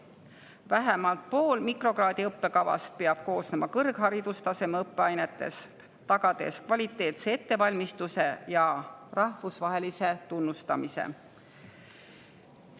Vähemalt pool mikrokraadi õppekavast peab koosnema kõrgharidustaseme õppeainetest, see tagab kvaliteetse ettevalmistuse ja rahvusvahelise tunnustuse.